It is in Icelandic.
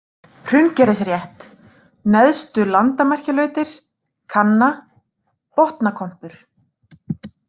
Hraungerðisrétt, Neðstu-Landamerkjalautir, Kanna, Botnakompur